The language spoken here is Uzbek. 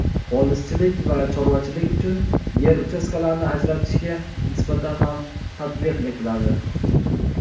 polizchilik va chorvachilik uchun yer uchastkalarini ajratishga nisbatan ham tatbiq etiladi.